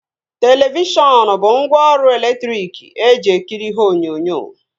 Televishọn bụ ngwaọrụ elektriki eji ekiri ihe onyonyo